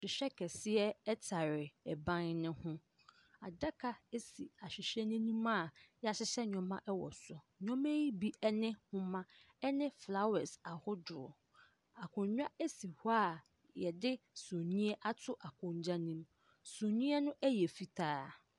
Ahwehwɛ kɛseɛ ɛtare ɛban no ho. Adaka esi ahwehwɛ n'anim a yeahyehyɛ nneɛma ɛwɔ so. Nneɛma yi bi ɛne nhoma, ɛne flawɛs ahodoɔ. Akonwa esi hɔ a yɛde suneɛ ato akonwa nim. Suneɛ no yɛ fitaa.